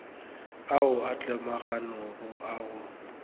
ao a tlemaganego a go